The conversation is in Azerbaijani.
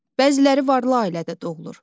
Bəziləri varlı ailədə doğulur.